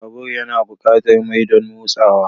Babur yana buƙatar mai don motsawa.